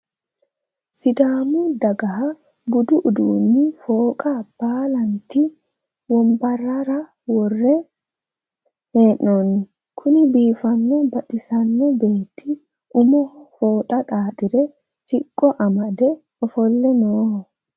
Sidaammu daggaha budu udduni fooxa baalanitte wonibarera wore heenonni Kuni biifanona baxxisano beetti ummoho fooxa xaaxire siqqo amadde offole nooho